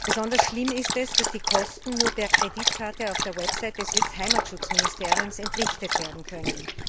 Besonders schlimm ist, dass die Kosten nur per Kreditkarte auf der Website des US Heimatschutzministeriums entrichtet werden können.